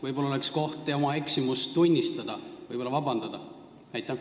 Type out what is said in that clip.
Võib-olla oleks siin koht oma eksimust tunnistada ja võib-olla vabandust paluda?